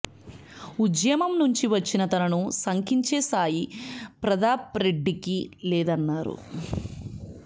ఉద్యమం నుంచి వచ్చిన తనను శంకించే స్థాయి ప్రతాప్రెడ్డికి లేదన్నారు